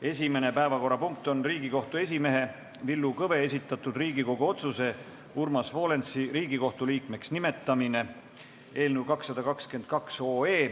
Esimene päevakorrapunkt on Riigikohtu esimehe Villu Kõve esitatud Riigikogu otsuse "Urmas Volensi Riigikohtu liikmeks nimetamine" eelnõu 222.